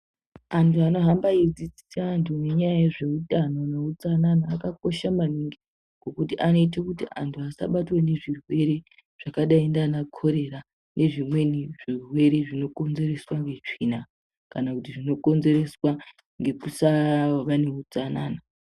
Antu ano hamba eyi dzidzisa antu nenyaya yezve utano ne utsanana aka kosha maningi kuti anoite kuti antu asa batwa ngezvi rwere zvakadai ndana korera nezvimweni zvirwere zvino konzereswa ne tsvina kana kuti zvino konzereswa ngekusava ne utsanana.